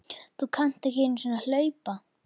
Þú kannt ekki einu sinni að hlaupa